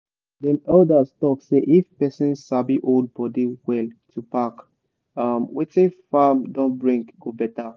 dem elders talk say if person sabi hold body well to pack um wetin farm don bring go better.